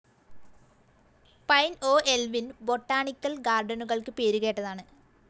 Pine ഓഹ്‌ എൽവിൻ botanical ഗാർഡനുകൾക്ക് പേരുകേട്ടതാണ്.